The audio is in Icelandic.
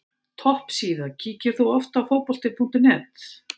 Topp síða Kíkir þú oft á Fótbolti.net?